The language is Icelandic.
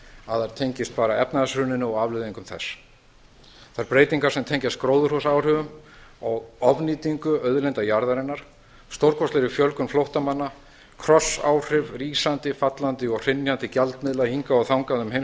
að þær tengist bara efnahagshruninu og afleiðingum þess þær breytingar tengjast gróðurhúsaáhrifum og ofnýtingu auðlinda jarðarinnar stórkostlegri fjölgun flóttamanna krossáhrifum rísandi fallandi og hrynjandi gjaldmiðla hingað og þangað um